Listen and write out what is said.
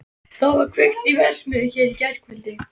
Það var kveikt í verksmiðju hér í gærkvöldi.